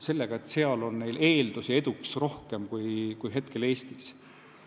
Muidugi seal on neil eeldusi eduks rohkem kui Eestis.